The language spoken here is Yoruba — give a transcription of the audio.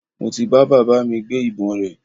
Mo ti bá baba mi gbé ìbọn rẹ̀